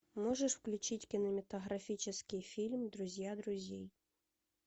можешь включить кинематографический фильм друзья друзей